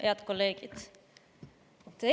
Head kolleegid!